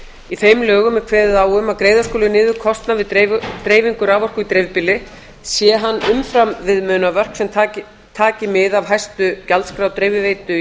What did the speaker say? í þeim lögum er kveðið á um að greiða skuli niður kostnað við dreifingu raforku í dreifbýli sé hann umfram viðmiðunarmörk sem taki mið af hæstu gjaldskrá dreifiveitu í